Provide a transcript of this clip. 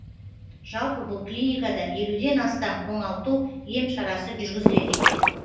жалпы бұл клиникада елуден астам оңалту ем шарасы жүргізіледі екен